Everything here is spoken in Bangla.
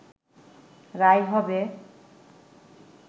রায় হবে